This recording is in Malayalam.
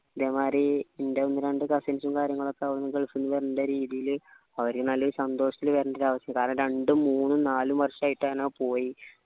ഇതേമാതിരി ൻ്റെ ഒന്ന് രണ്ട് cousins സും കാര്യങ്ങളൊക്കെ അവിടുന്നു gulf ന്നു വരണ്ട രീതിയിൽ അവര് ഒരു നല്ല സന്തോഷത്തിൽ കാരണം രണ്ടും മൂന്നും നാലും വർഷം ആയിട്ടാണ് പോയി